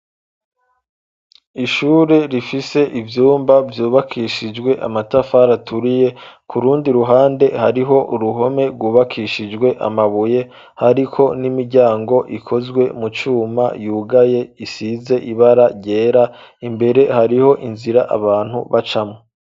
ishure rifise ivyumba vyubakishijwe amatafari aturiye kurundi ruhande hariho uruhome rwubakishijwe amabuye ariko n'imiryango ikozwe mu cuma yugaye isize ibara ryera imbere hariho inzira abantu bacamwo.